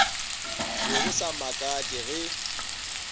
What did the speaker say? be go sa makatše ge